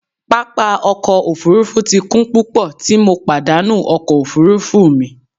Papa ọkọ ofurufu ti kun pupọ ti MO padanu ọkọ ofurufu mi.